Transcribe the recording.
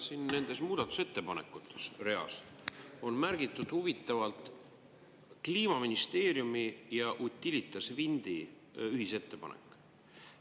Siin nendes muudatusettepanekutes reas on märgitud huvitavalt Kliimaministeeriumi ja Utilitas Windi ühisettepanek.